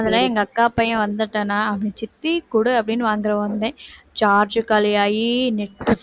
அதிலயும் எங்க அக்கா பையன் வந்துட்டானா அவன் சித்தி கொடு அப்படின்னு வந்துருவான் உடனே charge காலியாகி net